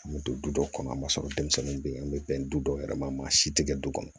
An bɛ don du dɔw kɔnɔ a ma sɔrɔ denmisɛnnin bɛ yen an bɛ bɛn du dɔw yɛrɛ ma maa si tɛ kɛ du kɔnɔ